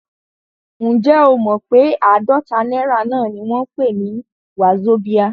Ǹjẹ́ o mọ pé àádọ́ta náírà náà ni wọ́n ń pè ní wazobia?